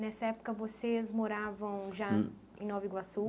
Nessa época, vocês moravam já em Nova Iguaçu?